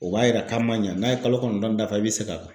O b'a yira k'a man ɲa n'a ye kalo kɔnɔntɔn dafa i bɛ segin a kan.